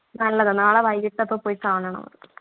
നല്ലതാ നാളെ വൈകീട്ടൊക്കെ പോയി കാണണം അത്